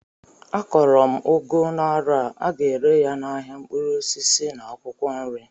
Akọrọ m ugu n'arọ a, aga ere ya n'ahịa mkpụrụ osisi na akwụkwọ nri